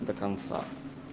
до конца